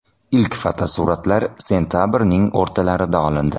Ilk fotosuratlar sentabrning o‘rtalarida olindi.